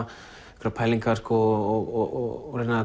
einhverjar pælingar og reyna